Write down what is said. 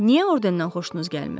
Niyə ordendən xoşunuz gəlmir?